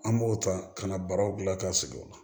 An b'o ta ka na baraw gilan ka sigi o la